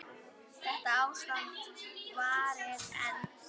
Þetta ástand varir enn.